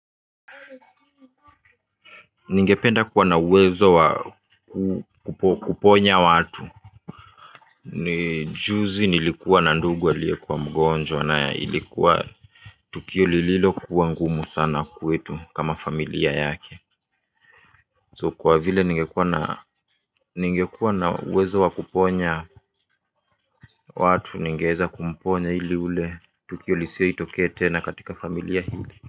Ningependa kuwa na uwezo wa kuponya watu. Ni juzi nilikuwa na ndugu aliyekuwa mgonjwa na ilikuwa tukio lililokuwa ngumu sana kwetu kama familia yake. So kwa vile ningekuwa na uwezo wa kuponya watu ningeweza kumponya ili ule tukio lisiwahi tokea tena katika familia hili.